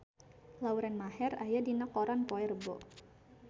Lauren Maher aya dina koran poe Rebo